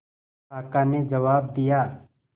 काका ने जवाब दिया